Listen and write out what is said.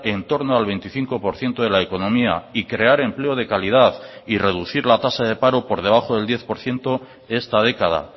en torno al veinticinco por ciento de la economía y crear empleo de calidad y reducir la tasa de paro por debajo del diez por ciento esta década